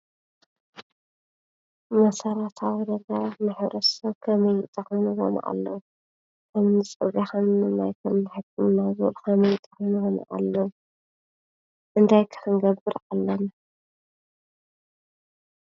መሰረታዊ ነገራት ናይ ሕብረተሰብ ከመይ እንትኾኑዎም ኣለው ። ከምኒ ማይ ከምኒ ሕክምና ከመይ ዝበሉ ክኾኑ ኣለዎም። እንታይ ከ ክንገብር ኣለና?